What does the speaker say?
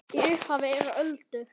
Í upphafi eru öldur.